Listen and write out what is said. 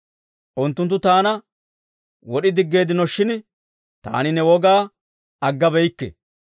Unttunttu taana wod'i diggeeddinoshin; taani ne wogaa aggabeyikke.